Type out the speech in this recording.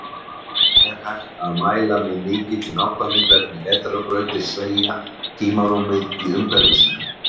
En hægt er að mæla með mikilli nákvæmni hvernig vetrarbrautir sveigja tímarúmið í umhverfi sínu.